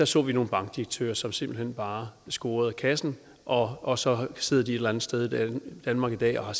så nogle bankdirektører som simpelt hen bare scorede kassen og og så sidder de et eller andet sted i danmark i dag og har